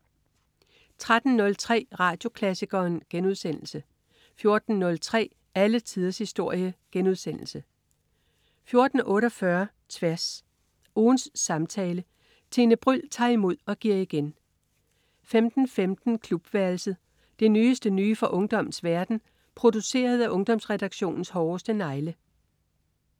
13.03 Radioklassikeren* 14.03 Alle tiders historie* 14.48 Tværs. Ugens samtale. Tine Bryld tager imod og giver igen 15.15 Klubværelset. Det nyeste nye fra ungdommens verden, produceret af Ungdomsredaktionens hårdeste negle